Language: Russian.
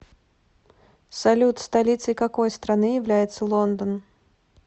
салют столицей какой страны является лондон